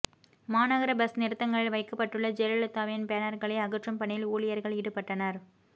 மாநகர பஸ் நிறுத்தங்களில் வைக்கப்பட்டுள்ள ஜெயலலிதாவின் பேனர்களை அகற்றும் பணியில் ஊழியர்கள் ஈடுபட்டனர்